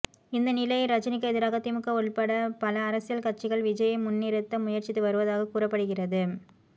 இந்த நிலையில் ரஜினிக்கு எதிராக திமுக உள்பட பல அரசியல் கட்சிகள் விஜய்யை முன்னிறுத்த முயற்சித்து வருவதாக கூறப்படுகிறது